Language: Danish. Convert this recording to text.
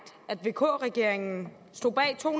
at vk regeringen stod bag to